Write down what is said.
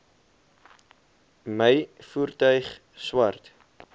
my voertuig swart